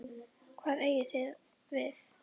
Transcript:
Hvað eigið þið við?